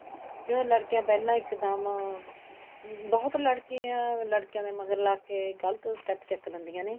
ਕੋਈ ਲੜਕੀਆਂ ਪਹਿਲਾਂ ਇੱਕਦਮ ਬਹੁਤ ਲੜਕੀਆਂ ਲੜਕਿਆਂ ਦੇ ਮਗਰ ਲੱਗ ਕੇ ਗਲਤ step ਚੱਕ ਲੈਂਦੀਆਂ ਨੇ